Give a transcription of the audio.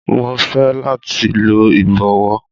Mo fẹ lati lo ibọwọ